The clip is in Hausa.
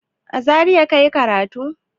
A Zariya ka yi karatu?